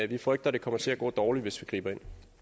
vi frygter det kommer til at gå dårligt hvis vi griber